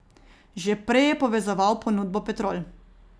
Že prej je povezoval ponudbo Petrol.